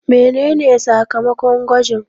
Mene ne sakamakon gwajin?